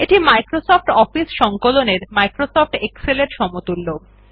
এটি Microsoft office সংকলন এর মাইক্রোসফট এক্সেল এর সমতুল্য